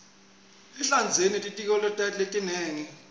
ehlandzeni kunetitselo letinengi